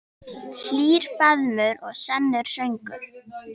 Hlýr faðmur og sannar sögur.